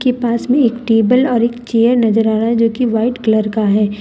के पास में एक टेबल और एक चेयर नजर आ रहा है जोकि वाइट कलर का है ।